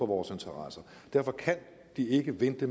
vores interesser derfor kan de ikke vente